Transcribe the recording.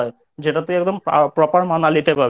যেটা তুই একদম Proper মানালিতে পাবি।